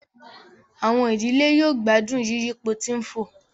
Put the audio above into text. Àwọn ìdílé yóò gbádùn yiyipo tí ń fò